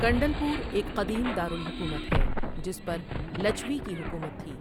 کنڈل پور ایک قدیم دارالحکومت ہے جس پر لچھوی کی حکومت تھی۔